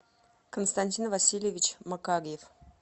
константин васильевич макарьев